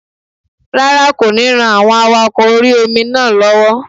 Rárá, kò ní ran àwọn awakọ̀ orí-omi náà lọ́wọ́